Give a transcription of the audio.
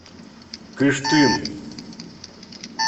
кыштым